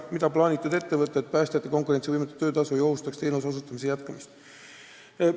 Mida on plaanitud ette võtta, et päästjate konkurentsivõimetu töötasu ei ohustaks teenuste osutamise jätkamist?